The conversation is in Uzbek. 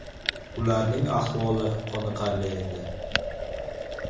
Ularning ahvoli qoniqarli edi.